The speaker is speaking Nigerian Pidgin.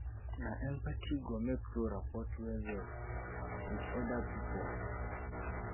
na empathy go make you rapport wellwell wit oda pipo